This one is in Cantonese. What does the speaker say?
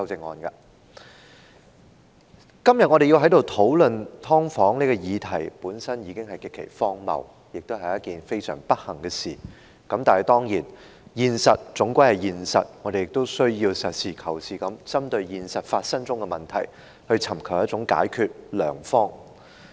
我們今天在此討論"劏房"的議題，本身已經極其荒謬，亦是非常不幸的事，但現實終究是現實，我們須要實事求是地針對現實中發生的問題，尋求解決良方。